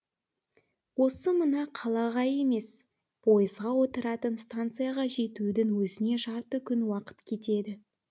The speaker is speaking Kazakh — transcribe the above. осы мына қалаға емес пойызға отыратын станцияға жетудің өзіне жарты күн уақыт кетеді